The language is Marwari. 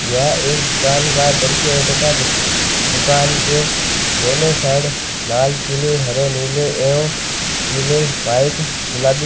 यह एक दूकान का द्रश्य है दूकान के दोनों साइड लाल पीले हरे नीले एव पिले व्हाइट गुलाबी --